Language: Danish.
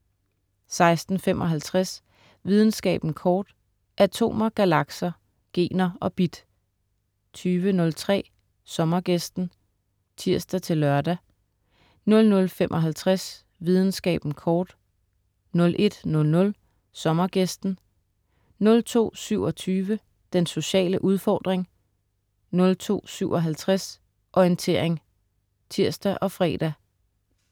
16.55 Videnskaben kort. Atomer, galakser, gener og bit 20.03 Sommergæsten* (tirs-lør) 00.55 Videnskaben kort* 01.00 Sommergæsten* (tirs-fre) 02.27 Den sociale udfordring* 02.57 Orientering* (tirs og fre)